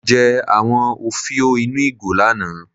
Mo jẹ àwọn òfiò ínú ìgò lánàá.